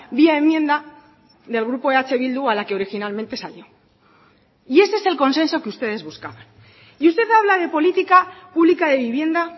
vía enmienda del grupo eh bildu a la que originalmente salió y ese es el consenso que ustedes buscaban y usted habla de política pública de vivienda